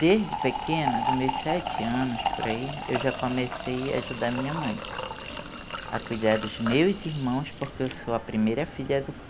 Desde pequena, dos meus sete anos, por aí, eu já comecei a ajudar a minha mãe, a cuidar dos meus irmãos, porque eu sou a primeira filha do povo,